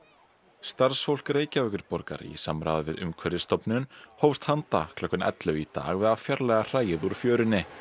starfsfólk Reykjavíkurborgar í samráði við Umhverfisstofnun hófst handa klukkan ellefu í dag við að fjarlægja hræið úr fjörunni